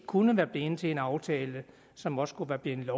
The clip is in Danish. kunne være blevet til en aftale som også kunne være blevet